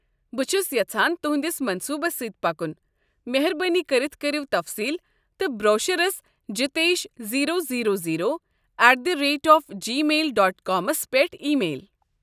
بہٕ چُھس یژھان تٗہنٛدِس منصوُبس سۭتۍ پکُن، مہربٲنی کٔرتھ کٔرو تفصیل تہٕ بروشرس Jitesh zero zero zero at the rate of gmail dot كامس پیٹھ ایی میل۔